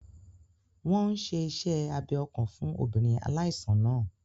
Wọ́n n ṣe iṣẹ́ abẹ ọkàn fún obìnrin aláìsàn náà